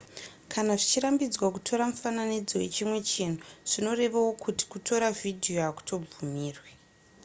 kana zvichirambidzwa kutora mufananidzo wechimwe chinhu zvinorevawo kuti kutora vhidhiyo hakutobvumirwe